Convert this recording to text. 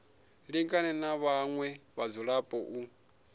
lingane na vhaṅwe vhadzulapo u